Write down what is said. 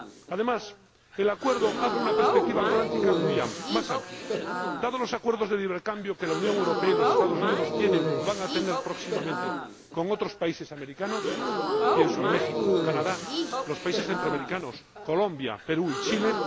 Además, el Acuerdo abre una perspectiva atlántica más amplia, dados los acuerdos de libre cambio que la Unión Europea y los Estados Unidos tienen o van a tener próximamente con otros países americanos pienso en México, Canadá, los países centroamericanos, Colombia, Perú y Chile.